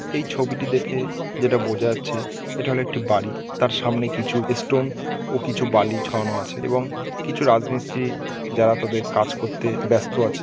এই ছবিটি দেখে যেটা বোঝা যাচ্ছে এটা হল একটি বাড়ি তার সামনে কিছু এস্টোন ও বালি ছড়ানো আছে এবং কিছু রাজমিস্তিরি যারা তাদের কাজ করতে ব্যাস্ত আছে।